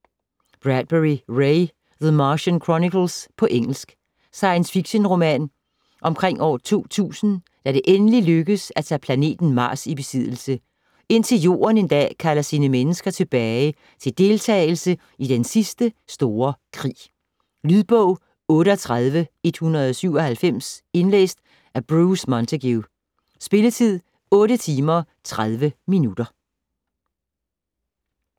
Bradbury, Ray: The Martian chronicles På engelsk. Science fiction-roman omkring år 2000 da det endelig lykkes at tage planeten Mars i besiddelse, indtil Jorden en dag kalder sine mennesker tilbage til deltagelse i den sidste store krig. Lydbog 38197 Indlæst af Bruce Montague Spilletid: 8 timer, 30 minutter.